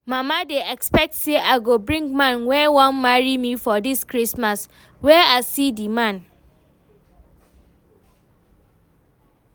Mama dey expect say I go bring man wey wan marry me for dis christmas, where I see the man?